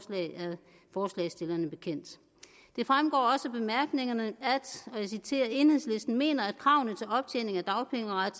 forslagsstillerne bekendt det fremgår også af bemærkningerne at enhedslisten mener at kravene til optjening af dagpengeret